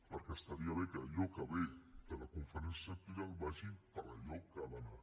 perquè estaria bé que allò que ve de la conferència sectorial vagi per a allò que ha d’anar